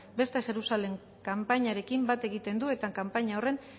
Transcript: beste jerusalem kanpainarekin bat egiten du eta kanpaina horren